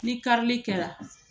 Ni karili kɛra